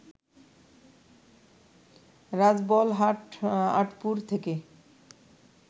রাজবলহাট, আঁটপুর থেকে